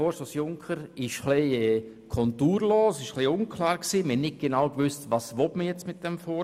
Er ist etwas konturlos und unklar und man wusste nicht genau, was mit dem Vorstoss erreicht werden soll.